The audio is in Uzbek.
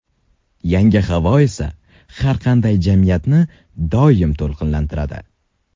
Yangi havo esa har qanday jamiyatni doim to‘lqinlantiradi.